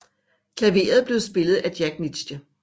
Klaveret blev spillet af Jack Nitzsche